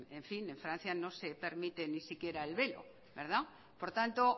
en fin en francia no se permite ni siquiera el velo por tanto